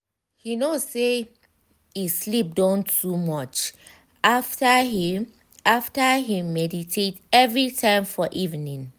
he know say e sleep don too much after him after him meditate every time for evening.